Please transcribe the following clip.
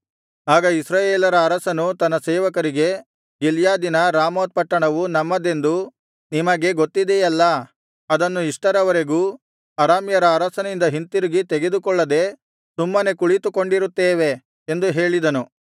ಆಗ ಇಸ್ರಾಯೇಲರ ಅರಸನು ತನ್ನ ಸೇವಕರಿಗೆ ಗಿಲ್ಯಾದಿನ ರಾಮೋತ್ ಪಟ್ಟಣವು ನಮ್ಮದೆಂದು ನಿಮಗೆ ಗೊತ್ತಿದೆಯಲ್ಲಾ ಅದನ್ನು ಇಷ್ಟರವರೆಗೂ ಅರಾಮ್ಯರ ಅರಸನಿಂದ ಹಿಂತಿರುಗಿ ತೆಗೆದುಕೊಳ್ಳದೆ ಸುಮ್ಮನೆ ಕುಳಿತುಕೊಂಡಿರುತ್ತೇವೆ ಎಂದು ಹೇಳಿದನು